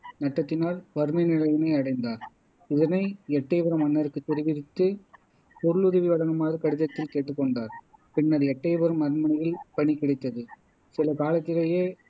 நட்டத்தினால் வறுமை நிலையினை அடைந்தார் இதனை எட்டயபுரம் மன்னருக்குத் தெரிவித்து பொருளுதவி வழங்குமாறு கடிதத்தில் கேட்டுக்கொண்டார் பின்னர் எட்டையபுரம் அரண்மனையில் பணி கிடைத்தது சில காலத்திலேயே